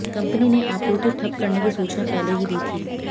company ने आपूर्ति ठप करने की सूचना पहले दी थी